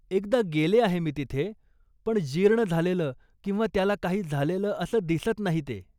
एकदा गेले आहे मी तिथे, पण जीर्ण झालेलं किंवा त्याला काही झालेलं असं दिसत नाही ते.